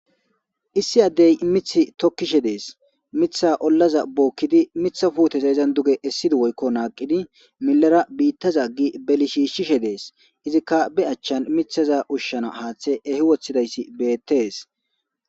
issi addey mithi tokkishe dees mitha ollaza bookkidi mitha fuuteza izan duge essidi woykko naaqidi millara biittaza gi beli shiishshishe dees izikka be achchan mithaza ushshana haaththe ehi wothidayssi beettees.